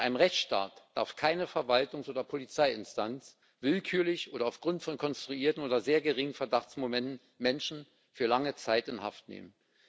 In einem Rechtsstaat darf keine Verwaltungs oder Polizeiinstanz willkürlich oder aufgrund von konstruierten oder sehr geringen Verdachtsmomenten Menschen für lange Zeit in Haft nehmen.